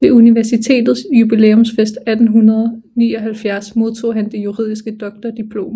Ved universitetets jubilæumsfest 1879 modtog han det juridiske doktordiplom